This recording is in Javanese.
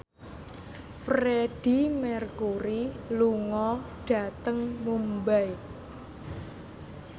Freedie Mercury lunga dhateng Mumbai